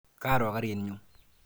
Karo karit nyu.